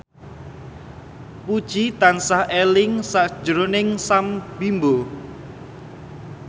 Puji tansah eling sakjroning Sam Bimbo